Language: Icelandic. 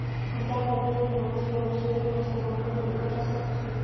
Hann gekk að dyrunum og spurði: Suðurnesjamenn kunna illa gestrisni.